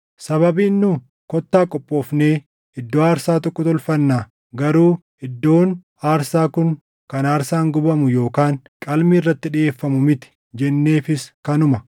“Sababiin nu, ‘Kottaa qophoofnee iddoo aarsaa tokko tolfannaa; garuu iddoon aarsaa kun kan aarsaan gubamu yookaan qalmi irratti dhiʼeeffamuu miti’ jenneefis kanuma.